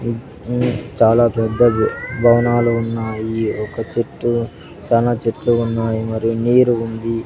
మ్ చాలా పెద్దది భవనాలు ఉన్నాయి ఒక చెట్టు చాలా చెట్లు ఉన్నాయి మరియు నీరు ఉంది.